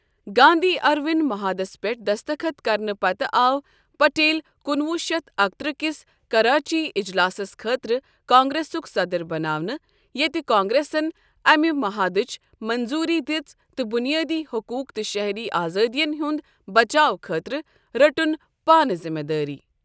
Gandhi Irwin مُحادس پٮ۪ٹھ دَستَخط کرنہٕ پتہٕ آو پٹیل کُنوُہ شیتھ اکترٛہ کِس کراچی اجلاسس خٲطرٕ کانگریسُک صدر بناونہٕ یتہِ کانگریسن اَمہِ مُحادٕچ منظوری دِژ تہٕ بنیٲدی حقوٗق تہٕ شہری آزادین ہنٛد بچاو خٲطرٕ رٔٹن پانہٕ زِمٕہ دٲری۔